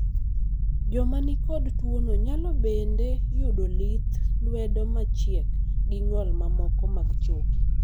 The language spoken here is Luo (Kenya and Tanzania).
joma nikod tuono nyalo bende yudo lith lwedo machiek gi ng'ol mamoko mag choke